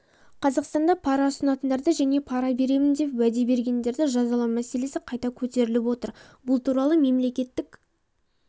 қазақстанда пара ұсынатындарды және пара беремін деп уәде бергендерді жазалау мәселесі қайта көтеріліпотыр бұл туралы мемлекеттік